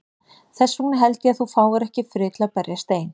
Þess vegna held ég að þú fáir ekki frið til að berjast ein.